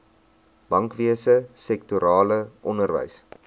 bankwese sektorale onderwys